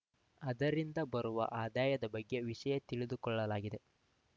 ಅದರಿಂದ ಬರುವ ಆದಾಯದ ಬಗ್ಗೆ ವಿಷಯ ತಿಳಿದುಕೊಳ್ಳಲಾಗಿದೆ